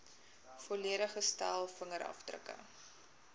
volledige stel vingerafdrukke